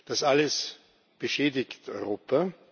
Das alles beschädigt Europa.